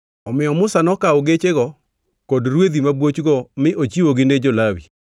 Omiyo Musa nokawo gechego kod rwedhi ma buochgo mi ochiwogi ne jo-Lawi.